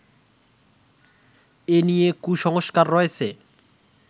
এ নিয়ে কুসংস্কার রয়েছে